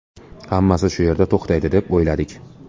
Hammasi shu yerda to‘xtaydi deb o‘yladik.